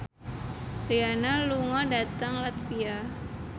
Rihanna lunga dhateng latvia